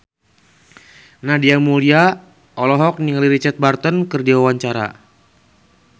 Nadia Mulya olohok ningali Richard Burton keur diwawancara